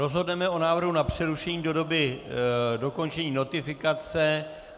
Rozhodneme o návrhu na přerušení do doby dokončení notifikace.